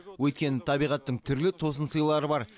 өйткені табиғаттың түрлі тосынсыйлары бар